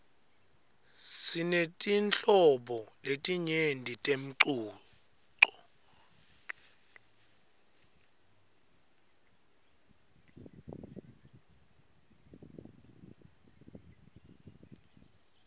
sinetinhlobo letinyenti temcuco